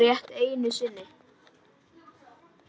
Rétt einu sinni.